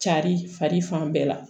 Cari fari fan bɛɛ la